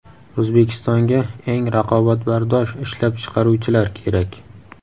O‘zbekistonga eng raqobatbardosh ishlab chiqaruvchilar kerak.